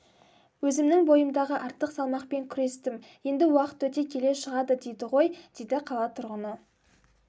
өзімнің бойымдағы артық салмақпен күрестім енді уақыт өте келе шығады дейді ғой дейді қала тұрғыны